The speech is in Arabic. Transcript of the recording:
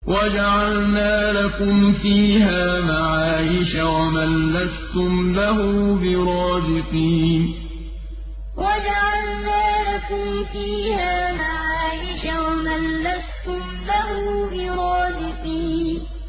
وَجَعَلْنَا لَكُمْ فِيهَا مَعَايِشَ وَمَن لَّسْتُمْ لَهُ بِرَازِقِينَ وَجَعَلْنَا لَكُمْ فِيهَا مَعَايِشَ وَمَن لَّسْتُمْ لَهُ بِرَازِقِينَ